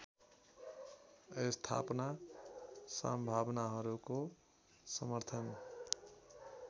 स्थापनाको सम्भावनाहरूको समर्थन